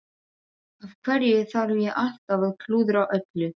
Af hverju þarf ég alltaf að klúðra öllu?